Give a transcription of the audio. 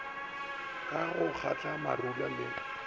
ka go kgatla marula le